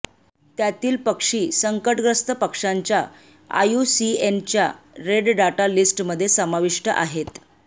त्यातील पक्षी संकटग्रस्त पक्ष्यांच्या आयूसीएनच्या रेडडाटा लीस्टमध्ये समाविष्ट आहेत